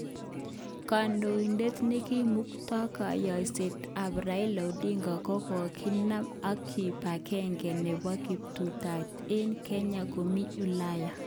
Kondoidet nekimukto koyoshet tab Raila Odinga kokakina ak kipagenge nebo kiptubatai eng kenya komi eleya.